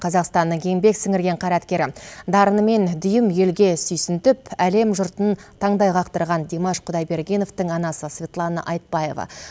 қазақстанның еңбек сіңірген қайраткері дарынымен дүйім елге сүйсінтіп әлем жұртын таңдай қақтырған димаш құдайбергеновтың анасы светлана айтбаева